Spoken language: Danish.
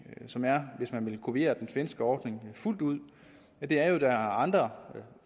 hvis man vil kopiere den svenske ordning fuldt ud og det er at der er andre